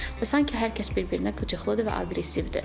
Və sanki hər kəs bir-birinə qıcıqlıdır və aqressivdir.